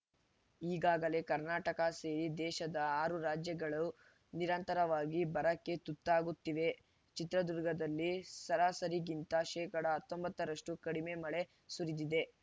ಈಗಾಗಲೇ ಕರ್ನಾಟಕ ಸೇರಿ ದೇಶದ ಆರು ರಾಜ್ಯಗಳು ನಿರಂತರವಾಗಿ ಬರಕ್ಕೆ ತುತ್ತಾಗುತ್ತಿವೆ ಚಿತ್ರದುರ್ಗದಲ್ಲಿ ಸರಾಸರಿಗಿಂತ ಶೇಕಡಾ ಹತ್ತೊಂಬತ್ತ ರಷ್ಟುಕಡಿಮೆ ಮಳೆ ಸುರಿದಿದೆ